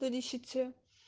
до десяти